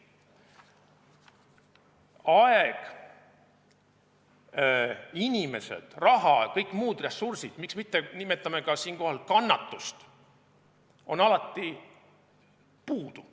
Aeg, inimesed, raha ja kõik muud ressursid, miks mitte nimetada siinkohal ka kannatust – neid on alati puudu.